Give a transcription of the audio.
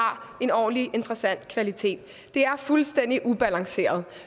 en ordentlig interessant kvalitet det er fuldstændig ubalanceret